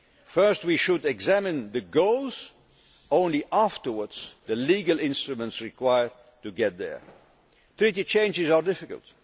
the how'. First we should examine the goals and only afterwards the legal instruments required to get there. Treaty changes are